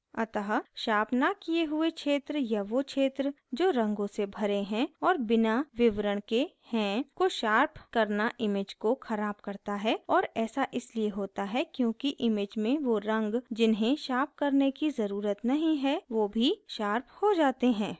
अतः शार्प न किये हुए क्षेत्र या so क्षेत्र जो रंगों से भरे हैं और बिना विवरण के हैं को शार्प करना image को ख़राब करता है और ऐसा इसलिए होता है क्योंकि image में so रंग जिन्हे शार्प करने की ज़रुरत नहीं है so भी शार्प हो जाते हैं